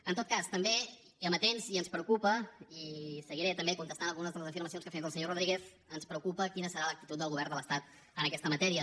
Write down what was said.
en tot cas també amatents i ens preocupa i seguiré també contestant algunes de les afirmacions que ha fet el senyor rodríguez quina serà l’actitud del govern de l’estat en aquesta matèria